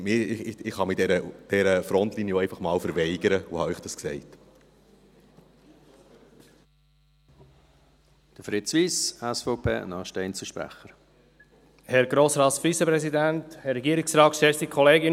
Ich kann mich dieser Frontlinie auch einfach einmal verweigern, und das wollte ich Ihnen sagen.